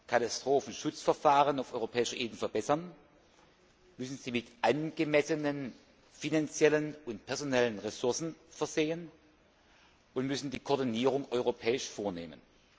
Katastrophenschutzverfahren auf europäischer Ebene verbessern und mit angemessenen finanziellen und personellen Ressourcen versehen und wir müssen die Koordinierung auf europäischer Ebene vornehmen.